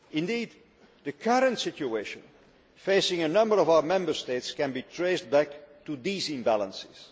Indeed, the current situation facing a number of our Member States can be traced back to these imbalances.